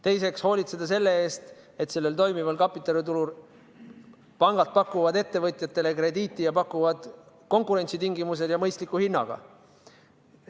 Teiseks tuleb hoolitseda selle eest, et sellel toimival kapitaliturul pangad pakuvad ettevõtjatele krediiti, ja seda konkurentsitingimustes ja mõistliku hinnaga.